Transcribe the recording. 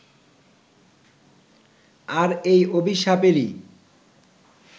আর এই অভিশাপেরই